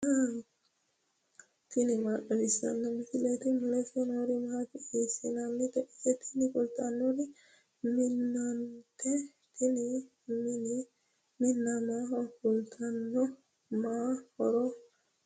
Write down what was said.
tini maa xawissanno misileeti ? mulese noori maati ? hiissinannite ise ? tini kultannori minnate tini minna maaho kaa'litanno? ma horo noosete.